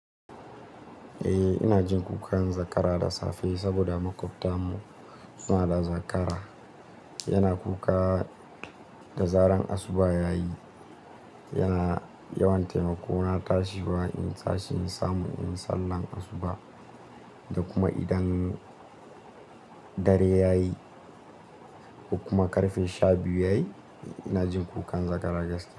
Eh ina jin kukan zakara da safe saboda maƙwabtanmu suna da zakara. Yana kuka da zaran asuba yayi, yana yawon taimako na tashi ba in tashi in samu in sallah asuba da kuma idan dare yayi, ko kuma ƙarfe shabiyu yayi ina jin kukan zakara gaskiya.